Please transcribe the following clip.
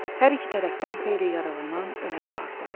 Hər iki tərəfdən xeyli yaralanan, ölən vardı.